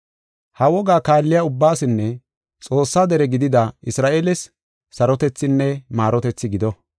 Ha wogaa kaalliya ubbaasinne Xoossaa dere gidida Isra7eeles sarotethinne maarotethi gido.